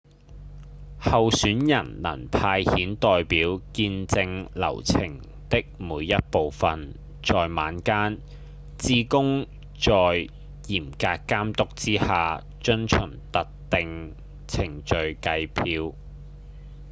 候選人能派遣代表見證流程的每一部分在晚間志工在嚴格監督之下遵循特定程序計票